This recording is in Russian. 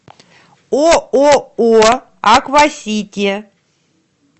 ооо аквасити